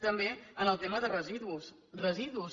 també en el tema de residus residus